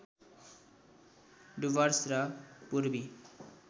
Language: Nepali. डुवर्स र पूर्वी